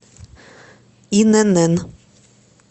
инн